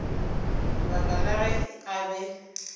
baka la ge a be